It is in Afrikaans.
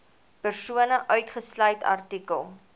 persone uitgesluit artikel